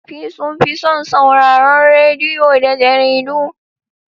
Wasu tsofaffi sun fi son sauraron rediyo da jaridu.